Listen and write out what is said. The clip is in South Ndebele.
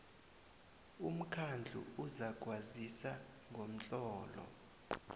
umkhandlu uzakwazisa ngomtlolo